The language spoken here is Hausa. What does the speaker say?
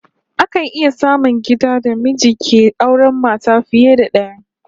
Akan iya samun gidan da miji ke auren mata fiye da daya